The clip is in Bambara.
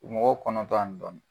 Mɔgɔw kɔnɔntɔn ani dɔɔni.